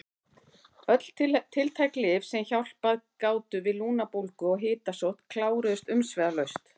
Öll tiltæk lyf sem hjálpað gátu við lungnabólgu og hitasótt kláruðust umsvifalaust.